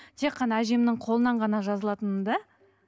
тек қана әжемнің қолынан ғана жазылатынмын да